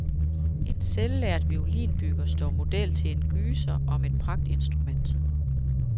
En selvlært violinbygger står model til en gyser om et pragtinstrument.